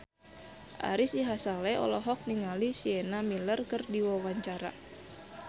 Ari Sihasale olohok ningali Sienna Miller keur diwawancara